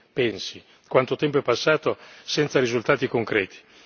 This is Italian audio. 2000. Pensi quanto tempo è passato senza risultati concreti.